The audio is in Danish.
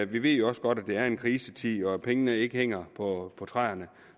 vi ved jo også godt at det er en krisetid og at pengene ikke hænger på træerne